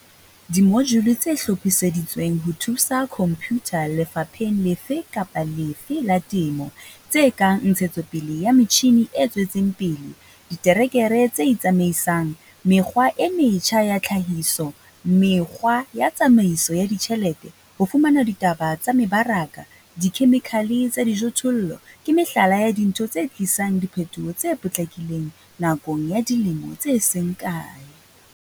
Dimojule tse hlophiseditsweng ho thusa khomphutha lefapheng lefe kapa lefe la temo, tse kang ntshetsopele ya metjhine e tswetseng pele, diterekere tse itsamaisang, mekgwa e metjha ya tlhahiso, mekgwa ya tsamaiso ya ditjhelete, ho fumana ditaba tsa mebaraka, dikhemikhale tsa dijothollo, ke mehlala ya dintho tse tlisang diphetoho tse potlakileng nakong ya dilemo tse seng kae.